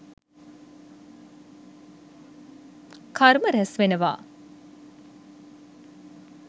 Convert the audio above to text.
කර්ම රැස්වෙනවා..